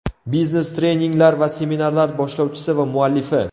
Biznes-treninglar va seminarlar boshlovchisi va muallifi.